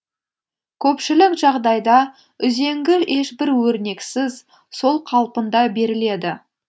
көпшілік жағдайда үзеңгі ешбір өрнексіз сол қалпында беріледі